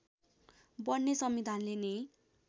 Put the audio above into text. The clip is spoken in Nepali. बन्ने संविधानले नै